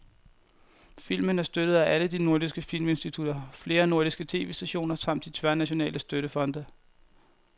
Filmen er støttet af alle de nordiske filminstitutter, flere nordiske tv-stationer samt de tværnationale støttefonde.